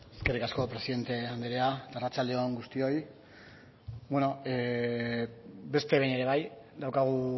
eskerrik asko presidente andrea eta arratsaldeon guztioi bueno beste behin ere bai daukagu